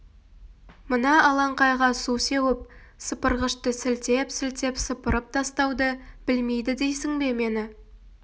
мына алаңқайға су сеуіп сыпырғышты сілтеп-сілтеп сыпырып тастауды білмейді дейсің бе мені